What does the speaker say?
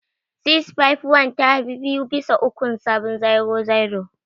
651 ta fi biyu bisa ukun 700.